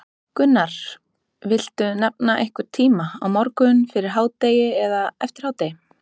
Gunnar: Viltu nefna einhvern tíma, á morgun, fyrir hádegi, eftir hádegi?